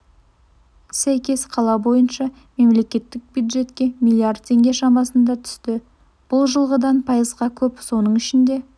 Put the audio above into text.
сәйкес қала бойынша мемлекеттік бюджетке миллиард теңге шамасында түсті бұл жылғыдан пайызға көп соның ішінде